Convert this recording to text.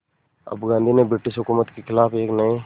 अब गांधी ने ब्रिटिश हुकूमत के ख़िलाफ़ एक नये